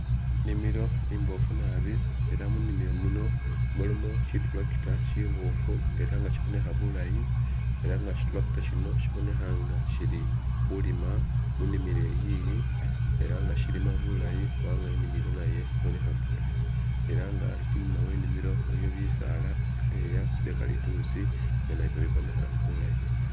Inimilo imbofu naabi , ela munimilo muno mulimo shi tractor shiboofu ela nga shibonekha bulaayi ela nga shi tractor shino shabonekha nga ishiili khulima munimilo iyiyi ela nga shilima bulaayi kunaga inimilo nayo ibonekha bulaayi, ela nga inyuma we inimilo waliyo bisaala ibyeleya bye kalitusi nga nabyo bibonekha bulaayi.